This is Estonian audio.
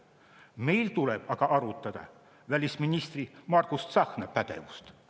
Meil tuleb aga arutada välisminister Margus Tsahkna pädevust.